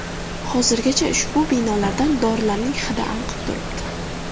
Hozirgacha ushbu binolardan dorilarning hidi anqib turibdi.